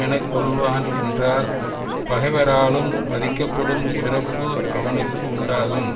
என கொள்வான் என்றால் பகைவராலும் மதிக்கப்படும் சிறப்பு அவனுக்கு உண்டாகும்